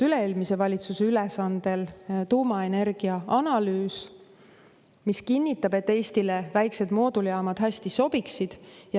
Üle-eelmise valitsuse ülesandel on tehtud tuumaenergia analüüs, mis kinnitab, et Eestile väiksed mooduljaamad hästi sobiksid.